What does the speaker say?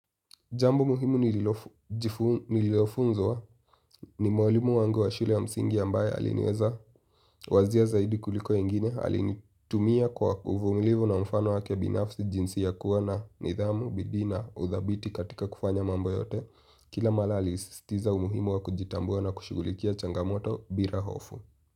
Jambu muhimu nililofunzwa ni mwalimu wangu wa shule ya msingi ambaye aliniweza wazia zaidi kuliko wengine alinitumia kwa uvumulivu na mfano wake binafsi jinsi ya kuwa na nidhamu, bidii na, udhabiti katika kufanya mambo yote. Kila mala alisistiza umuhimu wa kujitambua na kushughulikia changamoto bira hofu.